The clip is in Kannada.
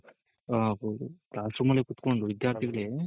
ಆ ಹು class room ಅಲ್ಲೇ ಕುತ್ಕೊಂಡು ವಿದ್ಯಾರ್ಥಿಗಳು